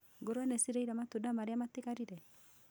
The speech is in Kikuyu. Ngũrwe nĩ cirĩire matunda marĩa matigarire